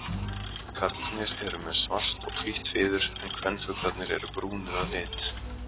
Karlarnir eru með svart og hvítt fiður en kvenfuglarnir eru brúnir að lit.